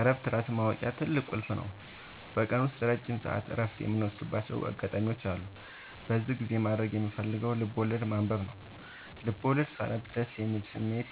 እረፍት ራስን ማወቂያ ትልቁ ቁልፍ ነው። በቀን ውስጥ ረጅም ሰዓት እረፍት የምወስድባቸው አጋጣዎች አሉ። በዚህ ጊዜ ማድረግ የምፈልገው ልብዐወለድ ማንበብ ነው፤ ልቦለድ ሳነብ ደስ የሚል ስሜት፣